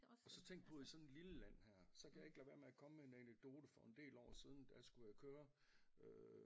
Og så tænkt på i sådan et lille land her så kan jeg ikke lade være med at komme en anekdote for en del år siden der skulle jeg køre øh